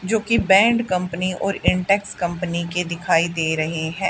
जोकि band company और Intex company के दिखाई दे रहे हैं।